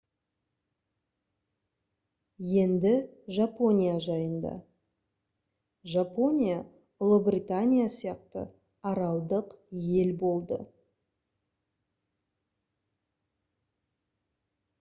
енді жапония жайында жапония ұлыбритания сияқты аралдық ел болды